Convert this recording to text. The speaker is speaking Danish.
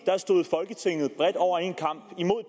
stod folketinget bredt over en kam imod